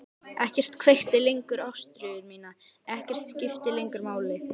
Ekkert kveikti lengur ástríðu mína, ekkert skipti lengur máli.